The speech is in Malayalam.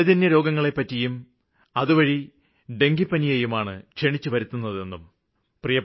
ജലജന്യരോഗങ്ങളെപ്പറ്റിയും അതുവഴി ഡെങ്കുവിനെയാണ് ക്ഷണിച്ചുവരുത്തുന്നതെന്നും